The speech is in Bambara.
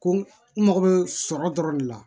Ko n mago bɛ sɔrɔ dɔrɔn de la